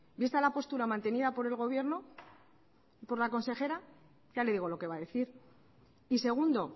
vista la postura mantenida por el gobierno por la consejera ya le digo lo que va a decir y segundo